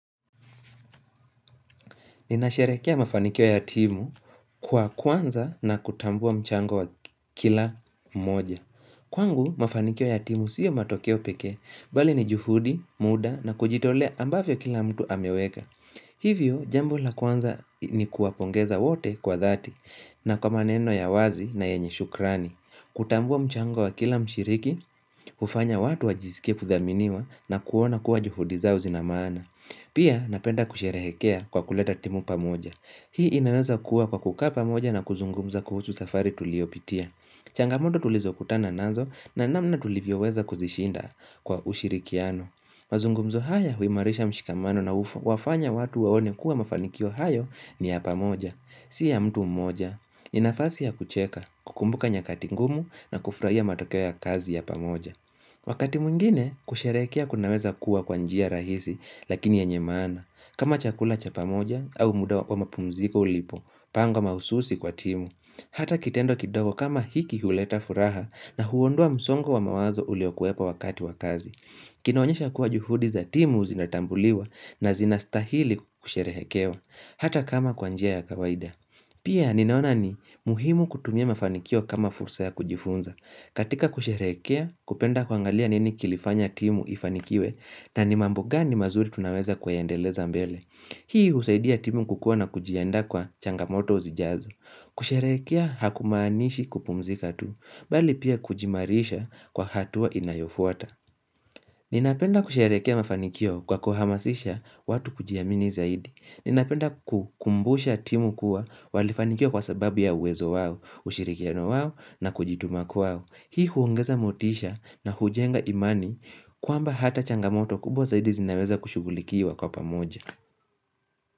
Ninasherekea mafanikio ya timu kwa kwanza na kutambua mchango wa kila mmoja. Kwangu, mafanikio ya timu siyo matokeo peke, bali ni juhudi, muda na kujitole ambavyo kila mtu ameweka. Hivyo, jambo la kwanza ni kuwapongeza wote kwa dhati na kwa maneno ya wazi na yenye shukrani. Kutambua mchango wa kila mshiriki, hufanya watu wajisike kudhaminiwa na kuona kuwa juhudiza uzinamana. Pia napenda kusherehekea kwa kuleta timu pamoja. Hii inaweza kuwa kwa kukaa pamoja na kuzungumza kuhusu safari tuliopitia. Changamoto tulizo kutana nazo na namna tulivyo weza kuzishinda kwa ushirikiano. Mazungumzo haya huimarisha mshikamano na wafanya watu waone kuwa mafanikio hayo ni ya pamoja. Siya mtu mmoja. Ninafasi ya kucheka, kukumbuka nyakati ngumu na kufurahia matokea kazi ya pamoja Wakati mwingine, kusheherekea kuna weza kuwa kwa njia rahisi lakini enye maana kama chakula cha pamoja au muda wa kwa mapumziko ulipo, pango mahususi kwa timu hata kitendo kidogo kama hiki huleta furaha na huondua msongo wa mawazo uliokuepa wakati wa kazi Kinaonyesha kuwa juhudi za timu uzinatambuliwa na zinastahili kusherehekewa hata kama kwa njia ya kawaida Pia ninaona ni muhimu kutumia mafanikio kama fursa ya kujifunza. Katika kusheherekea kupenda kuangalia nini kilifanya timu ifanikiwe na ni mambo gani mazuri tunaweza kuyandeleza mbele. Hii husaidia timu kukua na kujienda kwa changamoto uzijazo. Kusheherekea hakumanishi kupumzika tu, bali pia kujimarisha kwa hatua inayofuata. Ninapenda kusheherekea mafanikio kwa kuhamasisha watu kujiamini zaidi. Ninapenda kukumbusha timu kuwa walifanikiwa kwa sababu ya uwezo wawo, ushirikiano wawo na kujituma kwao. Hii huongeza motisha na hujenga imani kwamba hata changamoto kubwa zaidi zinaweza kushughulikiwa kwa pamoja.